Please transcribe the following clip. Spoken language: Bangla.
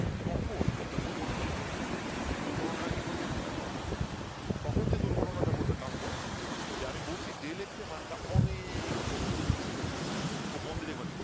তখন একটা দুর্ঘটনা ঘটবে এখানে দুর্ঘটনা টা কি ঘটবে একটু খেয়াল করো তখন যে দুর্ঘটনা টা ঘটবে তা হলো যে আমি বলছি del X এর মাসনটা অনেক ছোট খুব মনদিয়ে দেখবা কিন্তু